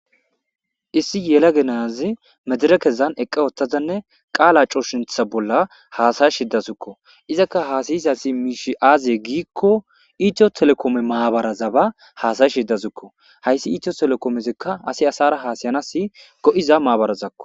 Iss yelaga na'a duzara qala sintha medireke bolli eqqa uttada qala hasiyashe dawusikoa izaka hasiyashe dizaysi aybe giko ethio telikome mishi hasiyashe dawusiko hasi ethio telikome hary harar hasiyanawu go'iza mabarako